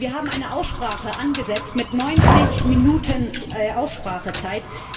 Wir haben eine Aussprache angesetzt mit 90 Minuten Aussprachezeit.